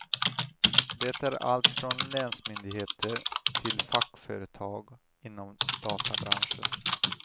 Det är allt från länsmyndigheter till fackföretag inom databranschen.